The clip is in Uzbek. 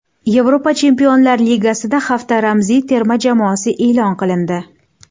Yevropa Chempionlar Ligasida hafta ramziy terma jamoasi e’lon qilindi.